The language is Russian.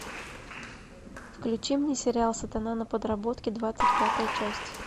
включи мне сериал сатана на подработке двадцать пятая часть